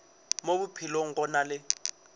mo bophelong go na le